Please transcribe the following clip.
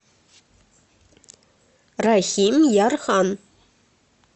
рахимъярхан